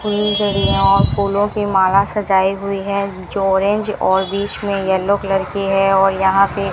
फुलझडियां और फूलों की माला सजाई हुई है जो ऑरेंज और बीच में येलो कलर की है और यहां पे --